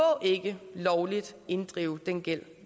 ikke lovligt inddrive den gæld